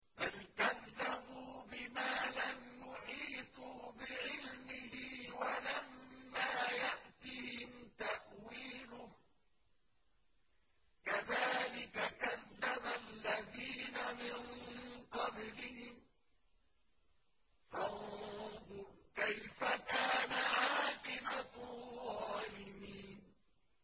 بَلْ كَذَّبُوا بِمَا لَمْ يُحِيطُوا بِعِلْمِهِ وَلَمَّا يَأْتِهِمْ تَأْوِيلُهُ ۚ كَذَٰلِكَ كَذَّبَ الَّذِينَ مِن قَبْلِهِمْ ۖ فَانظُرْ كَيْفَ كَانَ عَاقِبَةُ الظَّالِمِينَ